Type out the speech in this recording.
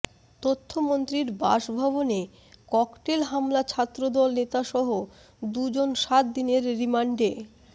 তথ্যমন্ত্রীর বাসভবনে ককটেল হামলা ছাত্রদল নেতাসহ দুজন সাত দিনের রিমান্ডে